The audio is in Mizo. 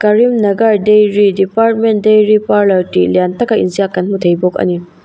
karimnagar dairy department dairy parlour tih lian taka in ziak kan hmu thei bawk a ni.